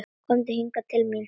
Komdu hingað til mín.